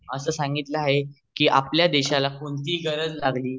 ज्या मध्ये अस सांगितलं आहे कि आपल्या देशाला कोणतेही गरज लागली